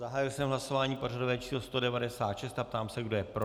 Zahájil jsem hlasování pořadové číslo 196, ptám se, kdo je pro.